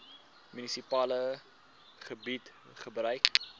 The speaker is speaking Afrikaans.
munisipale gebied gebruik